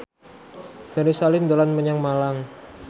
Ferry Salim dolan menyang Malang